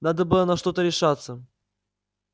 надо было на что-то решаться